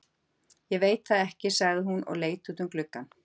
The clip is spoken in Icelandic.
Ég veit það ekki, sagði hún og leit út um gluggann.